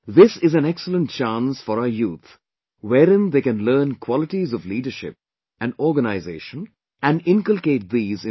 This is an excellent chance for our youth wherein they can learn qualities of leadership and organization and inculcate these in themselves